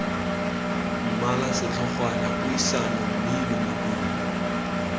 mmala setlhogwana puisano mmino modumo